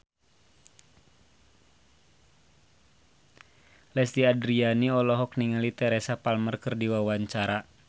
Lesti Andryani olohok ningali Teresa Palmer keur diwawancara